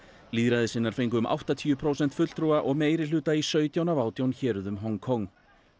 lýðræðissinnar fengu um áttatíu prósent fulltrúa og meirihluta í sautján af átján héruðum Hong Kong